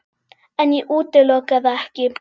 En ég útiloka það ekki.